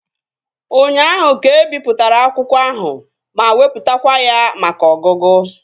Ụnyaahụ ka ebipụtara akwụkwọ ahụ ma wepụtakwa ya maka ọgụgụ